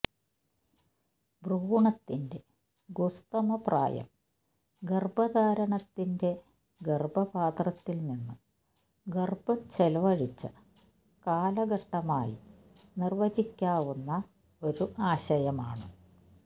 ഭ്രൂണത്തിന്റെ ഗുസ്തമ പ്രായം ഗർഭധാരണത്തിന്റെ ഗർഭപാത്രത്തിൽ നിന്ന് ഗർഭം ചെലവഴിച്ച കാലഘട്ടമായി നിർവചിക്കാവുന്ന ഒരു ആശയമാണ്